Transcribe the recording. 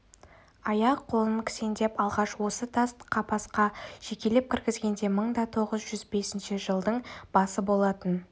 аяқ-қолын кісендеп алғаш осы тас қапасқа жекелеп кіргізгенде мың да тоғыз жүз бесінші жылдың басы болатын